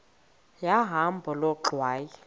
yahamba loo ngxwayi